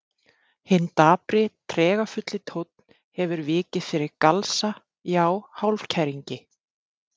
Hinn dapri, tregafulli tónn hefur vikið fyrir galsa, já hálfkæringi.